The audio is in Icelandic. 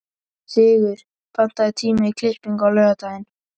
Sigur, pantaðu tíma í klippingu á laugardaginn.